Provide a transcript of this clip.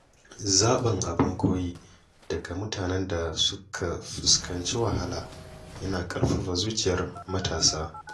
Zaɓin abin koyi daga mutanen da suka fuskanci wahala yana ƙarfafa zuciyar matasa.